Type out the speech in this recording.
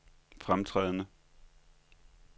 fremtrædende